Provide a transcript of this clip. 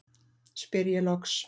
spyr ég loks.